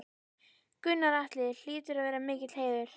Gunnar Atli: Hlýtur að vera mikill heiður?